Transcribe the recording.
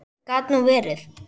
Gat nú verið.